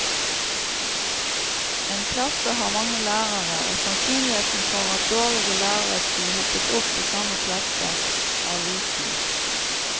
En klasse har mange lærere, og sannsynligheten for at dårlige lærere skulle hopes opp i samme klasse, er liten.